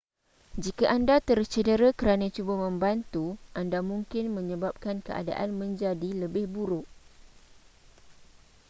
jika anda tercedera kerana cuba membantu anda mungkin menyebabkan keadaan menjadi lebih buruk